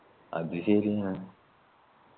അത് ശരിയാ